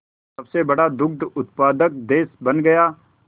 सबसे बड़ा दुग्ध उत्पादक देश बन गया